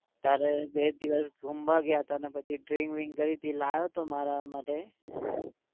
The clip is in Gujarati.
ત્યારે બે દિવસ ઘુમવા ગયા હતા ને પછી drink brink કરી હતી લાવ્યો હતો મારા માટે